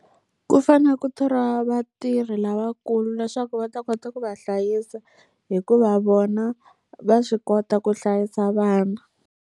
Ku fanele ku thoriwa vatirhi lavakulu leswaku va ta kota ku va hlayisa, hikuva vona va swi kota ku hlayisa vana.